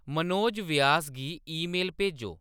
मनोज व्यास गी ईमेल भेजो